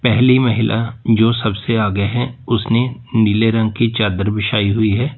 पहली महिला जो सबसे आगे हैं उसने नीले रंग की चादर बिछाई हुई है।